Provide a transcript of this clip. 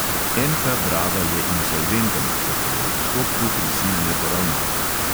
NK drava je insolventen, zato je v postopku prisilne poravnave.